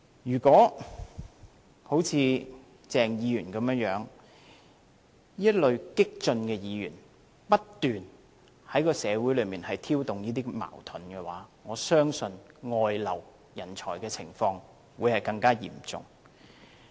如果好像鄭議員這類激進的議員，不斷在社會上挑動矛盾，我相信人才外流的情況會更加嚴重。